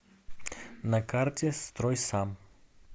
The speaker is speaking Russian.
на карте стройсам